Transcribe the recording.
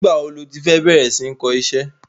Nigba wo lo ti fẹ bẹrẹ sí ní kọ iṣẹ́?